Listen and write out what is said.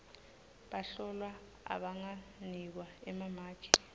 bahlolwa abanganikwa emamaki